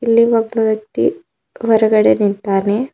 ಇಲ್ಲಿ ಒಬ್ಬ ವ್ಯಕ್ತಿ ಹೊರಗಡೆ ನಿಂತಾನೆ.